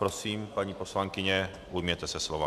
Prosím, paní poslankyně, ujměte se slova.